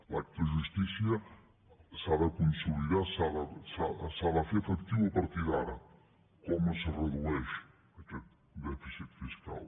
l’acte de justícia s’ha de consolidar s’ha de fer efectiu a partir d’ara com es redueix aquest dèficit fiscal